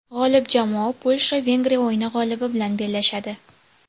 G‘olib jamoa Polsha Vengriya o‘yini g‘olibi bilan bellashadi.